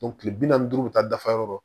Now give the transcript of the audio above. kile bi naani ni duuru bɛ taa dafa yɔrɔ